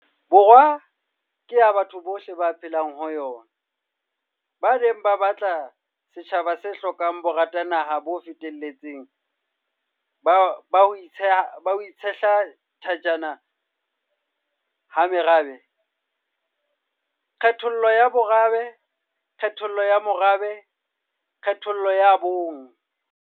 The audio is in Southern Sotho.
Borwa ke ya batho bohle ba phelang ho yona, ba ne ba batla setjhaba se hlokang boratanaha bo feteletseng ba ho itshehla thajana ha merabe, kgethollo ya bomorabe, kgethollo ya morabe le kgethollo ya bong.